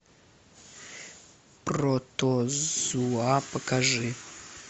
протозуа покажи